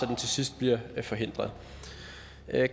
den til sidst bliver forhindret